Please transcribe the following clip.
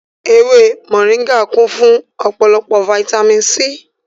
Ewé mòríngà kún fún ọ̀pọ̀lọpọ̀ fataímìn C.